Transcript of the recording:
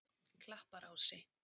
Klapparási